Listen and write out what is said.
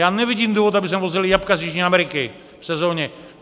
Já nevidím důvod, aby sem vozili jablka z Jižní Ameriky v sezóně.